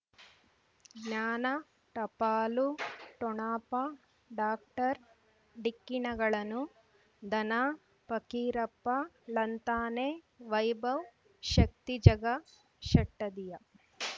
ಜ್ಞಾನ ಟಪಾಲು ಠೊಣಪ ಡಾಕ್ಟರ್ ಢಿಕ್ಕಿ ಣಗಳನು ಧನ ಫಕೀರಪ್ಪ ಳಂತಾನೆ ವೈಭವ್ ಶಕ್ತಿ ಝಗಾ ಷಟ್ಟದಿಯ